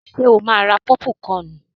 Ṣo máa ra pọ́púkọnù?